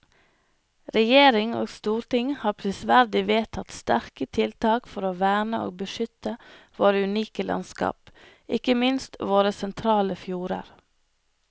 Regjering og storting har prisverdig vedtatt sterke tiltak for å verne og beskytte våre unike landskap, ikke minst våre sentrale fjorder.